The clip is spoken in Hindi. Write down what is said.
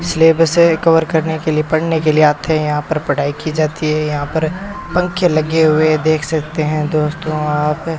सिलेबस कवर करने के लिए पढ़ने के लिए आते हैं यहां पर पढ़ाई की जाती है यहां पर पंखे लगे हुए है देख सकते हैं दोस्तों आप।